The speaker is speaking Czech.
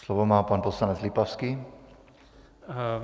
Slovo má pan poslanec Lipavský.